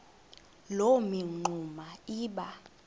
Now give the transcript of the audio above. loo mingxuma iba